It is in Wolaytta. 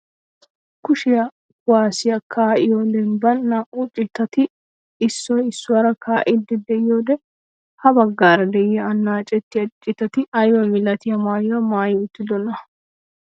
Kushshiyaa kuwaasiyaa kaa'iyoo dembbaan naa"u citati issoy issuwaara kaa'iidi de'iyoode ha baggaara de'iyaa annacettiyaa citati aybaa milatiyaa maayuwaa maayi uttidonaa?